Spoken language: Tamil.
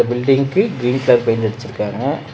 பில்டிங்க்கு கிரீன் கலர் பெயிண்ட் அடிச்சுருக்காங்க.